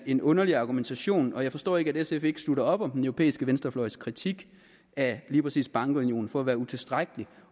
en underlig argumentation og jeg forstår ikke at sf ikke slutter op om den europæiske venstrefløjs kritik af lige præcis bankunionen for at være utilstrækkelig